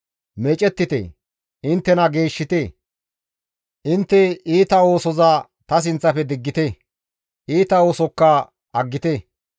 Meecettite; inttena geeshshite; intte iita oosoza ta sinththafe diggite; iita oosokka aggite.